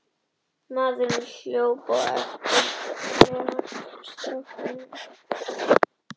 klefa mínum stóð forneskjulegt trérúm á gólfinu ásamt borði og stól.